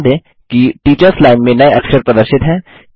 ध्यान दें कि टीचर्स लाइन में नये अक्षर प्रदर्शित हैं